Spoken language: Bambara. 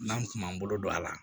N'an kun b'an bolo don a la